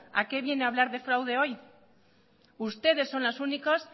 a qué viene hablar de fraude hoy ustedes son los únicos